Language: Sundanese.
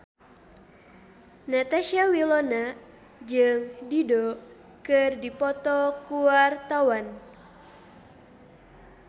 Natasha Wilona jeung Dido keur dipoto ku wartawan